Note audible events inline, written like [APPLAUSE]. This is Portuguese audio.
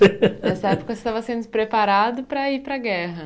[LAUGHS] Nessa época você estava sendo preparado para ir para a guerra.